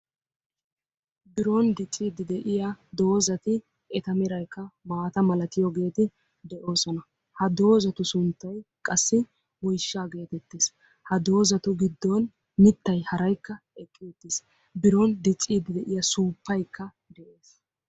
Biron diccide de'iya doozati eta meraykka maata malatiyoogeeti doosona. Ha doozati sunttay qassi woyshshaa getettes. Ha doozatu giddon mittay haraykka de'ees. Biron diiccide de'iya suuppaykka...